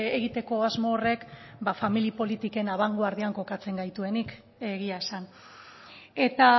egiteko asmo horrek familia politiken abangoardian kokatzen gaituenik egia esan eta